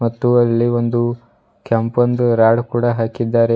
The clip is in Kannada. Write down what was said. ಮತ್ತು ಅಲ್ಲಿ ಒಂದು ಕೆಂಪಂದು ರಾಡ್ ಕೂಡ ಹಾಕಿದ್ದಾರೆ.